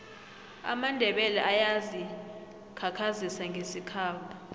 amandebele ayazi khakhazisa ngesikhabo